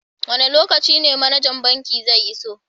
wanda lokaci ne managan banki zai iso?